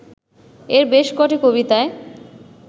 এর বেশ কটি কবিতায়